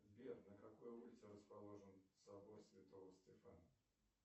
сбер на какой улице расположен собор святого стефана